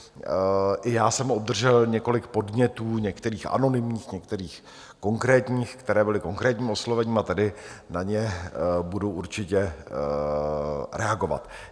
I já jsem obdržel několik podnětů, některých anonymních, některých konkrétních, které byly konkrétním oslovením, a tady na ně budu určitě reagovat.